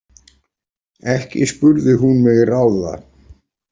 Ekki spurði hún mig ráða.